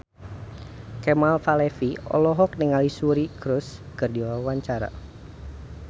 Kemal Palevi olohok ningali Suri Cruise keur diwawancara